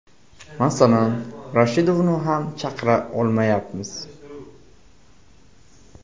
Masalan, Rashidovni ham hech chaqira olmayapmiz.